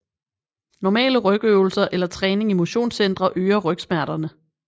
Normale rygøvelser eller træning i motionscentre øger rygsmerterne